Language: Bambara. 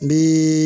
N bi